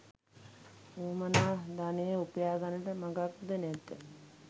වුවමනා ධනය උපයා ගන්නට මගක් ද නැත.